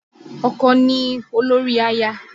Ọkọ ni olórí aya